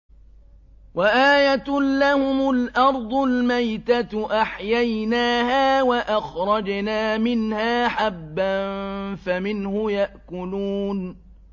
وَآيَةٌ لَّهُمُ الْأَرْضُ الْمَيْتَةُ أَحْيَيْنَاهَا وَأَخْرَجْنَا مِنْهَا حَبًّا فَمِنْهُ يَأْكُلُونَ